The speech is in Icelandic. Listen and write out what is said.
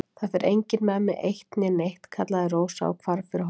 Það fer enginn með mig eitt né neitt, kallaði Rósa og hvarf fyrir hornið.